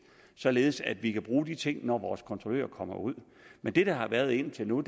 således at vi kan bruge de ting når vores kontrollører kommer ud men det der har været indtil nu